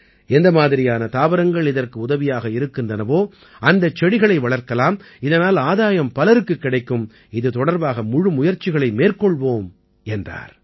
எந்த மாதிரியான தாவரங்கள் இதற்கு உதவியாக இருக்கின்றனவோ அந்தச் செடிகளை வளர்க்கலாம் இதனால் ஆதாயம் பலருக்குக் கிடைக்கும் இது தொடர்பாக முழு முயற்சிகளை மேற்கொள்வோம் என்றார்